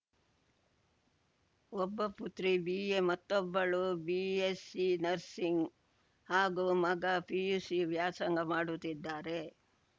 ಒಬ್ಬ ಪುತ್ರಿ ಬಿಎ ಮತ್ತೊಬ್ಬಳು ಬಿಎಸ್‌ಸಿ ನರ್ಸಿಂಗ್‌ ಹಾಗೂ ಮಗ ಪಿಯುಸಿ ವ್ಯಾಸಂಗ ಮಾಡುತ್ತಿದ್ದಾರೆ